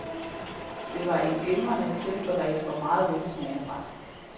Det var en glimrende tilberedt og meget velsmagende ret.